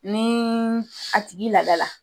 Ni a tigi ladala